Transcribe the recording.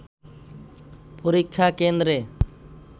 পরীক্ষা কেন্দ্রে